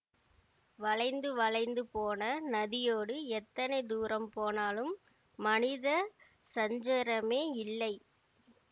வளைந்து வளைந்து போன நதியோடு எத்தனை தூரம் போனாலும் மனித சஞ்சரமே இல்லை